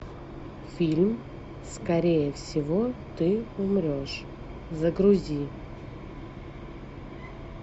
фильм скорее всего ты умрешь загрузи